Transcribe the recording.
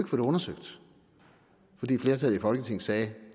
få det undersøgt fordi et flertal i folketinget sagde at